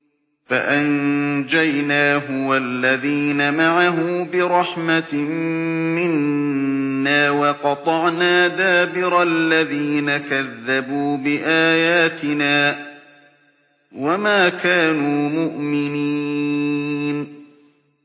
فَأَنجَيْنَاهُ وَالَّذِينَ مَعَهُ بِرَحْمَةٍ مِّنَّا وَقَطَعْنَا دَابِرَ الَّذِينَ كَذَّبُوا بِآيَاتِنَا ۖ وَمَا كَانُوا مُؤْمِنِينَ